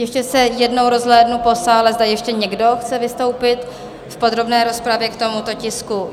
Ještě se jednou rozhlédnu po sále, zda ještě někdo chce vystoupit v podrobné rozpravě k tomuto tisku.